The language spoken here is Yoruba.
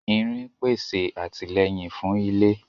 Irin pèsè àtìlẹ́yìn fún ilé